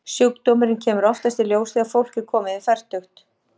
Sjúkdómurinn kemur oftast í ljós þegar fólk er komið yfir fertugt.